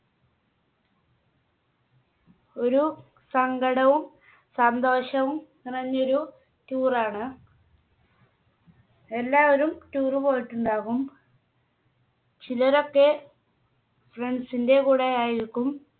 ഒരു സങ്കടവും സന്തോഷവും നിറഞ്ഞൊരു Tour ണ്. എല്ലാവരും Tour പോയിട്ടുണ്ടാകും ചിലരൊക്കെ Friends ന്റെ കൂടെ ആയിരിക്കും